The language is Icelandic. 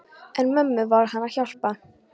En mömmu varð hann að hjálpa.